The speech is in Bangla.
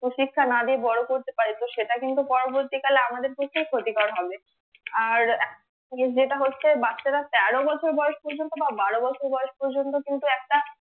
কুশিক্ষা না দিয়ে বড়ো করতে পারি তো সেটা কিন্তু পরবর্তী কালে আমাদের পক্ষে ক্ষতিকর হবে আর জিনিস যেটা হচ্ছে বাচ্চারা তেরো বছর বয়স পর্যন্ত বা বারো বছর বয়স পর্য্যন্ত কিন্তু একটা